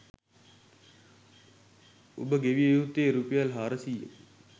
ඔබ ගෙවිය යුත්තේ රුපියල් හාරසියයකි.